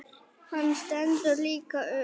Hann stendur líka upp.